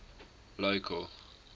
local